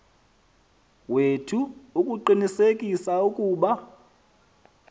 wethu ukuqinisekisa ukuba